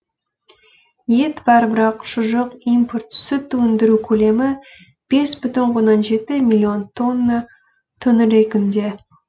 ет бар бірақ шұжық импорт сүт өндіру көлемі бес бүтін оннан жеті миллион тонна төңірегінде